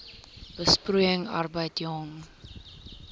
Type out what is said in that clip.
besproeiing arbeid jong